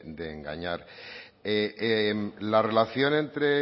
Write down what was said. de engañar la relación entre